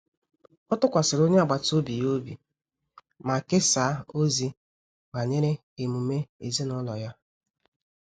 Ọ tụkwasịrị onye agbata obi ya obi ma kesaa ozi banyere emume ezinụlọ ya